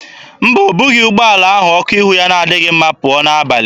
Mba, o bughị ụgbọala ahụ ọkụ ihu ya na-adịghị mma pụọ n'abalị.